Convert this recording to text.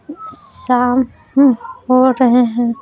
शाम हो रहे हैं।